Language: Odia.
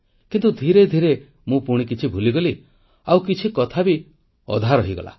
କିନ୍ତୁ ଧୀରେ ଧୀରେ ମୁଁ ପୁଣି କିଛି ଭୁଲିଗଲି ଆଉ କିଛି କଥା ବି ରହିଗଲା